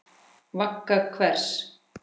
Vagga hvers?